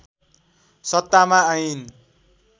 सत्तामा आइन्